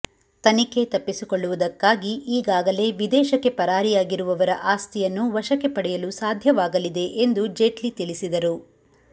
ತನಿಖೆ ತಪ್ಪಿಸಿಕೊಳ್ಳುವುದಕ್ಕಾಗಿ ಈಗಾಗಲೇ ವಿದೇಶಕ್ಕೆ ಪರಾರಿಯಾಗಿರುವವರ ಆಸ್ತಿಯನ್ನು ವಶಕ್ಕೆ ಪಡೆಯಲು ಸಾಧ್ಯವಾಗಲಿದೆ ಎಂದು ಜೇಟ್ಲಿ ತಿಳಿಸಿದರು